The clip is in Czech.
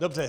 Dobře.